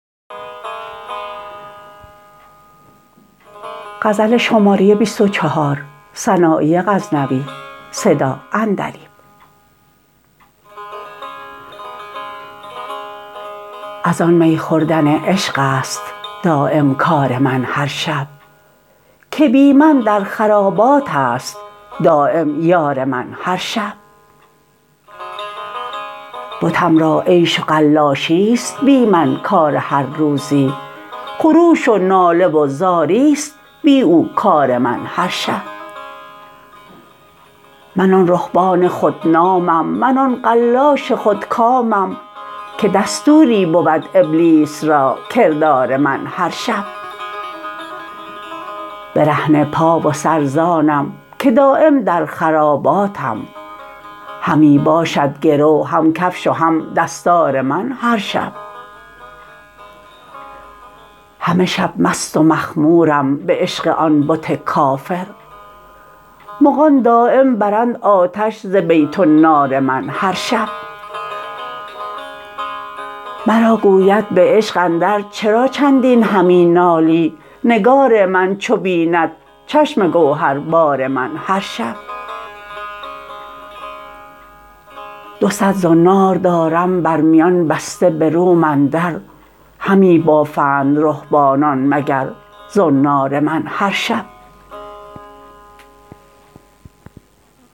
از آن می خوردن عشقست دایم کار من هر شب که بی من در خراباتست دایم یار من هر شب بتم را عیش و قلاشیست بی من کار هر روزی خروش و ناله و زاریست بی او کار من هر شب من آن رهبان خود نامم من آن قلاش خود کامم که دستوری بود ابلیس را کردار من هر شب برهنه پا و سر زانم که دایم در خراباتم همی باشد گرو هم کفش و هم دستار من هر شب همه شب مست و مخمورم به عشق آن بت کافر مغان دایم برند آتش ز بیت النار من هر شب مرا گوید به عشق اندر چرا چندین همی نالی نگار من چو بیند چشم گوهر بار من هر شب دو صد زنار دارم بر میان بسته به روم اندر همی بافند رهبانان مگر زنار من هر شب